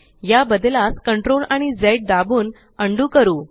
या बदलास CTRLआणि झ दाबून अंडू करू